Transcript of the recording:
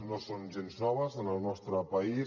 no són gens noves en el nostre país